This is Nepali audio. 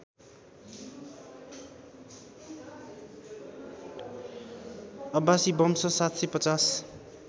अब्बासी वंश ७५०